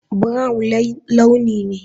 Brown launi ne.